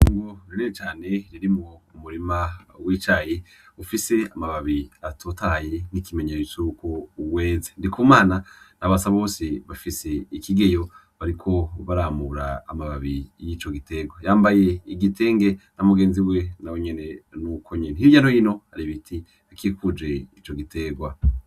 Itongo rinini cane ririmwo umurima w'icayi ufise amababi atotaye nk'ikimenyetso cuko weze, ndikumana na basabose bafise ikigeyo bariko baramura amababi y'ico giterwa yambaye igitenge na mugenzi we nawe nyene nuko nyene hirya no hino hari ibiti bikikuje ico giterwa.